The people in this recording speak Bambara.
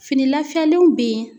Fini lafiyalenw bɛ yen